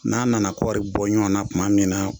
N'a nana k kɔɔri bɔ ɲɔgɔn na tuma min na